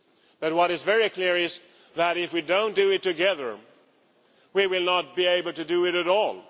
But what is very clear is that if we do not do it together, we will not be able to do it at all.